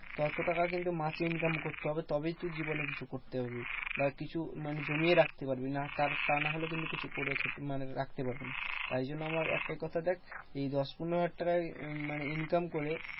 তত টাকা কিন্তু মাসে income করতে হবে, তবেই তুই জীবনে কিছু করতে পারবি। বা কিছু মানে জমিয়ে রাখতে পারবি। না তা তা নাহলে কিন্তু কিছু করে মানে রাখতে পারবি না। তাই জন্য আমার একটাই কথা দেখ এই দশ পনেরো টাকায় মানে income করে,